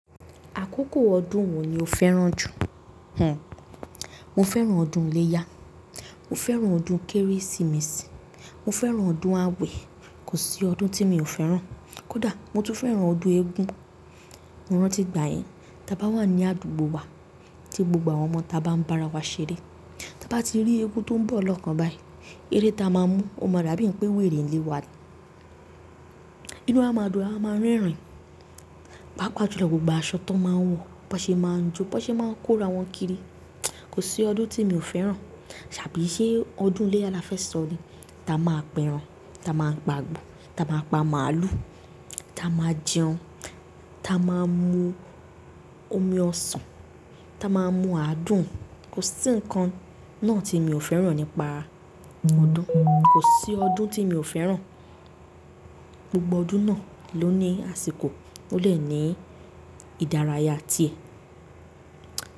Àkókò ọdún wo ni o fẹ́ràn jù? Hanh? Mo fẹ́ràn ọdún iléyá, mo fẹ́ràn ọdún Kérésìmesì, mo fẹ́ràn ọdún awẹ, kò sí ọdún tí mi ò fẹ́ràn. Kódà mo tún fẹ́ràn ọdún eégún. Mo rántí ìgbà yẹn, tí a bá wà ní àdúgbò wa tí gbogbo àwọn ọmọ ta bá ń bá ara wa ṣeré. Tí a bá ti rí eégún tó ń bọ̀ lọ́kàn báyìí, eré ta máa mú, o máa dàbí pé wèrè ń lé wa. Inú a máa dùn, ara a máa ń rẹ́rìn, pàápàá jùlọ gbogbo aṣọ tó máa ń wọ̀, bó ṣe máa ń jó, bó ṣe máa ń kó ara wọn kiri. Kò sí ọdún tí mi ò fẹ́ràn. Tàbí iṣẹ́ ọdún iléyá la fẹ́ sọ ni. Ta máa pẹran, ta maa gbàgbọ́, ta maa pa màálù, ta maa jẹun, ta maa mú omi ọsàn, ta maa mú adùn. Kò sí nǹkan náà tí mi ò fẹ́ràn nípa ọdún. Kò sí ọdún tí mi ò fẹ́ràn. Gbogbo ọdún náà ló ní àsìkò, ó dé ní ìdárayá ti ẹ̀.